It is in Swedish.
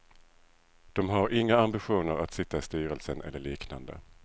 De har inga ambitioner att sitta i styrelsen eller liknande.